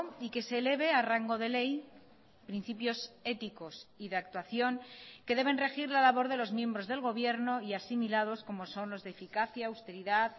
y que se eleve a rango de ley principios éticos y de actuación que deben regir la labor de los miembros del gobierno y asimilados como son los de eficacia austeridad